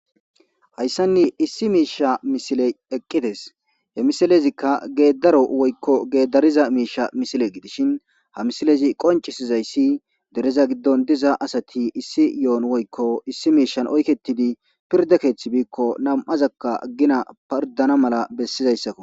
Hayssan issi miisha misiley eqqidees. He misilezikka geeddaro woykko geeddariza miisha misile gidishin ha misilezi qonccisizayssi dereza giddon diza asati issi ye7on woykko mishshan oykkettidi pirdde keethi biiko nam77azakka gina pirddana mal bessizayssako.